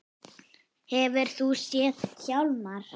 Hefurðu nokkuð séð hann Hjálmar